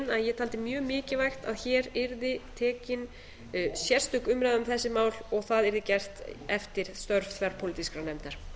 ég taldi mjög mikilvægt að hér yrði tekin sérstök umræða um þessi mál og það yrði gert eftir störf þverpólitískrar nefndar